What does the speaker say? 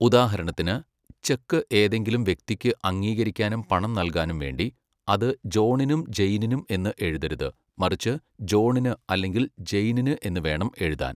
ഉദാഹരണത്തിന്, ചെക്ക് ഏതെങ്കിലും വ്യക്തിക്ക് അംഗീകരിക്കാനും പണം നൽകാനും വേണ്ടി, അത് ജോണിനും ജെയ്നിനും എന്ന് എഴുതരുത്, മറിച്ച് ജോണിന് അല്ലെങ്കിൽ ജെയ്നിന് എന്ന് വേണം എഴുതാൻ.